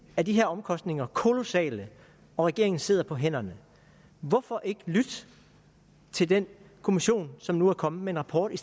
er de her omkostninger kolossale og regeringen sidder på hænderne hvorfor ikke lytte til den kommission som nu er kommet med en rapport i